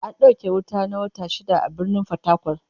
An dauke wuta na wata shida a Birnin Fatakwal